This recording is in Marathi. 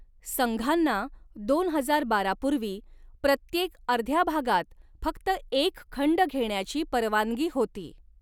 संघांना दोन हजार बारा पूर्वी, प्रत्येक अर्ध्या भागात फक्त एक खंड घेण्याची परवानगी होती.